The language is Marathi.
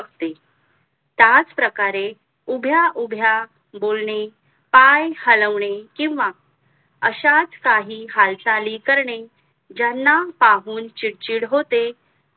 त्याच प्रकारे उभ्या उभ्या बोलणे पाय हलवणे किंवा अशाच काही हालचाल करणे ज्यांना पाहून चिडचिड होते